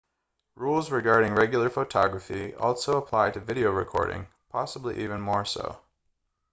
rules regarding regular photography also apply to video recording possibly even more so